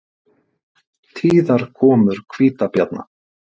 Tíðar komur hvítabjarna